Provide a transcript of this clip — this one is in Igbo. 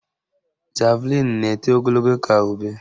Javlịn na-eto ogologo ka ube